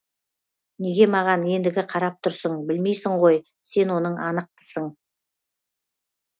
неге маған ендігі қарап тұрсың білмейсің ғой сен оның анықтысың